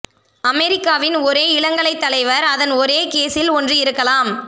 அமெரிக்காவின் ஒரே இளங்கலைத் தலைவர் அதன் ஒரே கேஸில் ஒன்று இருக்கலாம்